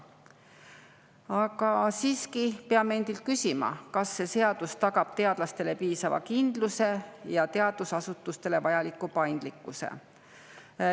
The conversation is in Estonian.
Aga siiski peame endilt küsima, kas see seadus tagab teadlastele piisava kindluse ja teadusasutustele vajaliku paindlikkuse.